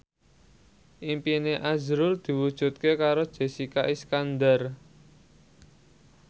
impine azrul diwujudke karo Jessica Iskandar